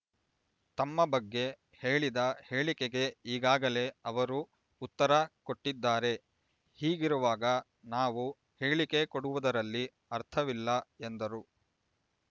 ತಮ್ಮ ಬಗ್ಗೆ ಹೇಳಿದ ಹೇಳಿಕೆಗೆ ಈಗಾಗಲೇ ಅವರು ಉತ್ತರ ಕೊಟ್ಟಿದ್ದಾರೆ ಹೀಗಿರುವಾಗ ನಾವು ಹೇಳಿಕೆ ಕೊಡುವುದರಲ್ಲಿ ಅರ್ಥವಿಲ್ಲ ಎಂದರು